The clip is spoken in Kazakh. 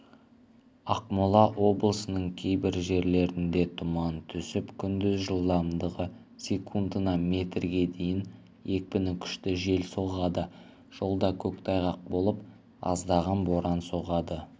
ақмола облысының кейбір жерлерінде тұман түсіп күндіз жылдамдығы секундына метрге дейін екпіні күшті жел соғады жолда көктайғақ болып аздаған боран соғады